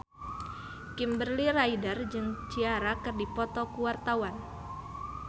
Kimberly Ryder jeung Ciara keur dipoto ku wartawan